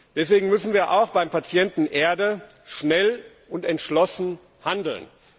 Deswegen müssen wir auch beim Patienten Erde schnell und entschlossen handeln.